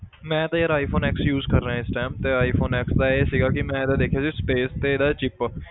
ਮੈਂ ਤੇ ਯਾਰ iphone x use ਕਰ ਰਿਹਾਂ ਇਸ time ਤੇ iphone x ਦਾ ਇਹ ਸੀਗਾ ਕਿ ਮੈਂ ਇਹਦਾ ਦੇਖਿਆ ਸੀ space ਤੇ ਇਹਦਾ chip